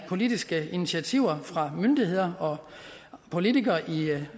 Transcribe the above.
politiske initiativer fra myndigheder og politikere i